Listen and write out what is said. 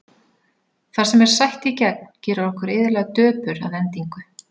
Það sem er sætt í gegn gerir okkur iðulega döpur að endingu.